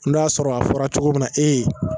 N'o y'a sɔrɔ a fɔra cogo min na e ye.